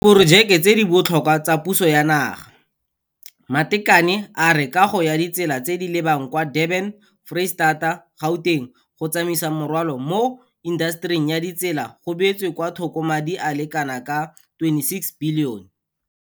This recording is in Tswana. Diporojeke tse di botlhokwa tsa puso ya naga Matekane a re kago ya ditsela tse di lebang kwa Durban-Foreistata-Gauteng go Tsamaisa Morwalo mo Intasetering ya Ditsela go beetswe kwa thoko madi a le kanaka R26 bilione.